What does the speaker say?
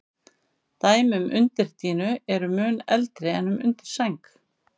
Dæmi um undirdýnu eru mun eldri en um undirsæng.